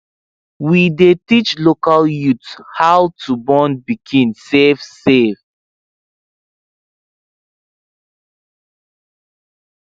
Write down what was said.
we dey teach local youth how to born pikin safe safe